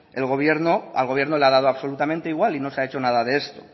al gobierno le ha dado absolutamente igual y no se ha hecho nada de esto